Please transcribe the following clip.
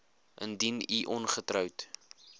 indien u ongetroud